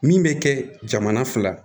Min bɛ kɛ jamana fila ye